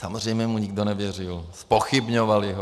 Samozřejmě mu nikdo nevěřil, zpochybňovali ho.